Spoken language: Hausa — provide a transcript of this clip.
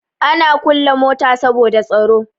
Ana kulle mota saboda tsaro.